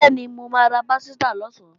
Bẹ́ẹ̀ni, mo máa ra pásítà lọ̀sán